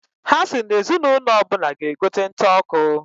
Ha si na ezi n'ụnọ ọbụna g'egote nta ọkụ.